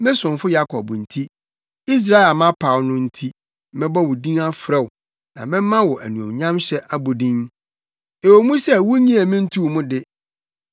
Me somfo Yakob nti, Israel a mapaw no nti, mebɔ wo din frɛ wo na mɛma wo anuonyamhyɛ abodin, ɛwɔ mu sɛ wunnyee me ntoo mu de.